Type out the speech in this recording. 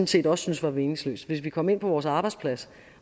set også synes var meningsløst hvis vi kom ind på vores arbejdsplads